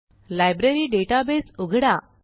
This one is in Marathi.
लायब्ररी डेटाबेस उघडा